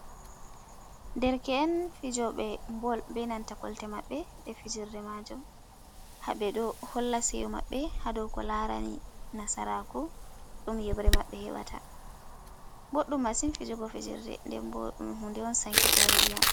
Derke’en, fijoɓee ɓe bol, be nanta kolte maɓɓe jai fijerdee maajuum, haɓe ɗo holla seeƴo maɓɓe ha dou ko larani nasaraku ɗum yebre mabɓe heɓata, boɗdum masin fijugo fijerde den boo ɗum hunde on sankitore iyam.